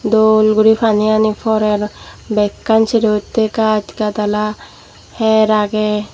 dol guri paniyani porer bekkan serohittey gach gadala hyer agey.